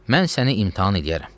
Mən səni imtahan eləyərəm.